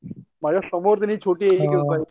माझ्या समोर त्यांनी छोटी